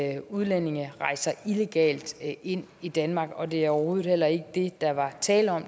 at udlændinge rejser illegalt ind i danmark og det er overhovedet heller ikke det der var tale om